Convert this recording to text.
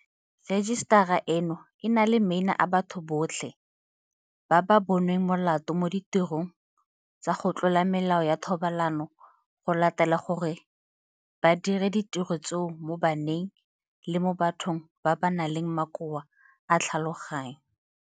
Rejisetara eno e na le maina a batho botlhe ba ba bo nweng molato mo ditirong tsa go tlola melao ya thobalano go latela gore ba dire ditiro tseo mo baneng le mo bathong ba ba nang le makoa a tlhaloganyo.